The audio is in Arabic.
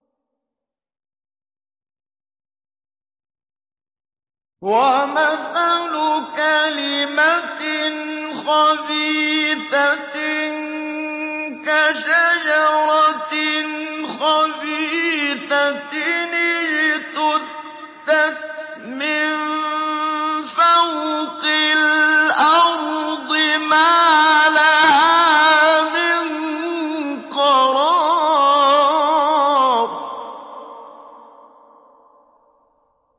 وَمَثَلُ كَلِمَةٍ خَبِيثَةٍ كَشَجَرَةٍ خَبِيثَةٍ اجْتُثَّتْ مِن فَوْقِ الْأَرْضِ مَا لَهَا مِن قَرَارٍ